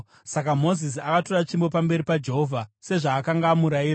Saka Mozisi akatora tsvimbo pamberi paJehovha, sezvaakanga amurayira.